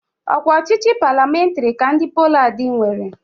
Ọ kwa ọchịchị palịamentarị ka ndị Poland nwere.